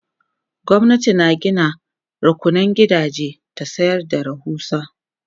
gwamnati na Gina rukunan gidaje ta sayar da rahusa